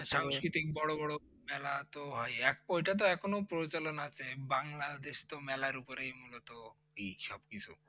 বড়ো বড়ো মেলা তো হয় এক ওটাতো এখন প্রচলন আছে বাংলাদেশ তো মেলার ওপরেই মুলত ই সবকিছু।